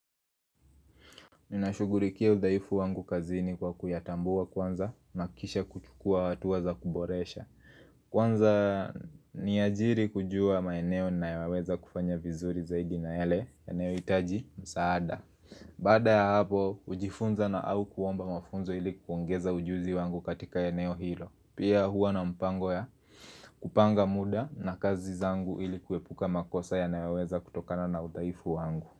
Ninashughulikia udhaifu wangu kazini kwa kuyatambua kwanza na kisha kuchukua hatua za kuboresha Kwanza niajiri kujua maeneo ninayoweza kufanya vizuri zaidi na yale yanayohitaji msaada Bada ya hapo, hujifunza na au kuomba mafunzo ili kuongeza ujuzi wangu katika eneo hilo Pia huwa na mpango ya kupanga muda na kazi zangu ili kuepuka makosa yanayo weza kutokana na udhaifu wangu.